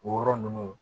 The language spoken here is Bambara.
O yɔrɔ ninnu